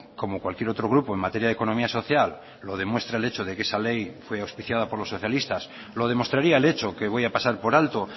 como cualquier otro grupo en materia de economía social lo demuestra el hecho de que esa ley fue auspiciada por los socialistas lo demostraría el hecho que voy a pasar por alto